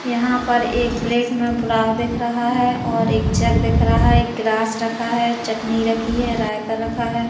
यहाँ पर एक प्लेट में पुलाव दिख रहा है और एक जग दिख रहा है एक गिलास रखा है चटनी रखी है रायता रखा है।